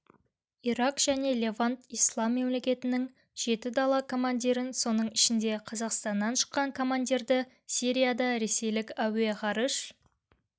ирак және левант ислам мемлекетінің жеті дала командирін соның ішінде қазақстаннан шыққан командирді сирияда ресейлік әуе-ғарыш